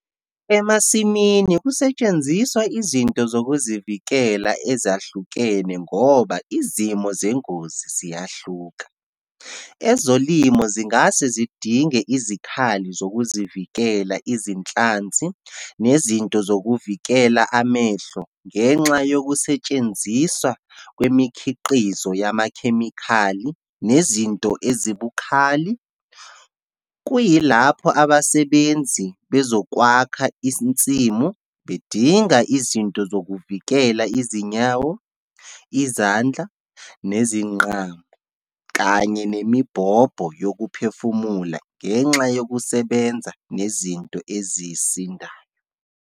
Emasimini, kusetshenziswa izinto zokuzivikela ezahlukene ngoba izimo zengozi ziyahluka. Ezolimo zingase zidinge izikhali zokuzivikela, izinhlanzi nezinto zokuvikela amehlo ngenxa yokusetshenziswa kwemikhiqizo yamakhemikhali nezinto ezibukhali. Kuyilapho abasebenzi bezokwakha insimu, bedinga izinto zokuvikela izinyawo, izandla nezinqamo, kanye nemibhobho yokuphefumula ngenxa yokusebenza ngezinto ezisindayo.